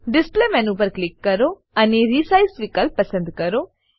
display menu પર click કરો અને રિસાઇઝ વિકલ્પ પસંદ કરો